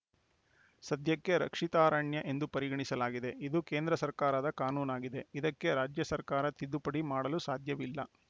ಸದ್ಯಕ್ಕೆ ರಕ್ಷಿತಾರಣ್ಯ ಎಂದು ಪರಿಗಣಿಸಲಾಗಿದೆ ಇದು ಕೇಂದ್ರ ಸರ್ಕಾರದ ಕಾನೂನಾಗಿದೆ ಇದಕ್ಕೆ ರಾಜ್ಯ ಸರ್ಕಾರ ತಿದ್ದುಪಡಿ ಮಾಡಲು ಸಾಧ್ಯವಿಲ್ಲ